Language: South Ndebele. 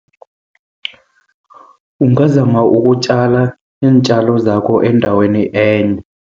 Ungazama ukutjala iintjalo zakho endaweni enye.